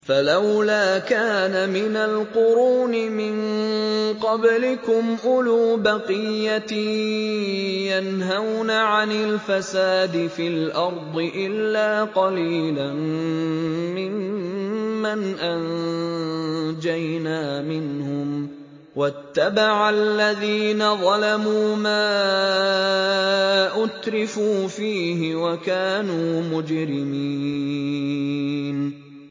فَلَوْلَا كَانَ مِنَ الْقُرُونِ مِن قَبْلِكُمْ أُولُو بَقِيَّةٍ يَنْهَوْنَ عَنِ الْفَسَادِ فِي الْأَرْضِ إِلَّا قَلِيلًا مِّمَّنْ أَنجَيْنَا مِنْهُمْ ۗ وَاتَّبَعَ الَّذِينَ ظَلَمُوا مَا أُتْرِفُوا فِيهِ وَكَانُوا مُجْرِمِينَ